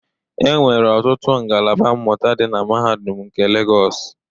Enwere ọtụtụ ngalaba mmụta dị na Mahadum nke Legos.